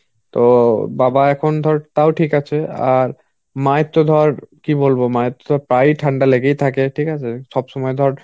অ্যাঁ তো বাবা এখন তাও ঠিক আছে. আর মা এর তো ধর কি বলবো প্রায়ই ঠাণ্ডা লেগেই থাকে ঠিক আছে সবসময় ধর